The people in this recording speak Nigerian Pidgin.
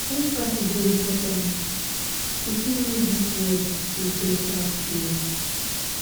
empathy dey important e fit make dis world a beta place.